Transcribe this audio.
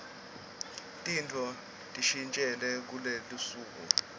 tintfo tishintjile kuletinsuku